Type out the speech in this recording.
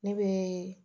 Ne bɛ